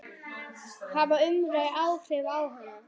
Hafði umræðan áhrif á hana?